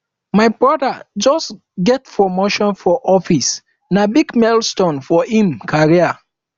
my broda just get promotion for office na big milestone for im career